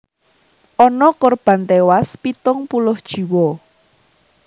Ana korban téwas pitung puluh jiwa